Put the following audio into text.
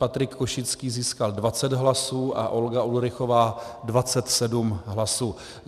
Patrik Košický získal 20 hlasů a Olga Ulrichová 27 hlasů.